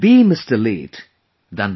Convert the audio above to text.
Late than Late Mr